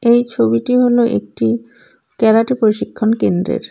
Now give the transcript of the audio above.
এই ছবিটি হলো একটি ক্যারাটে প্রশিক্ষণ কেন্দ্রের।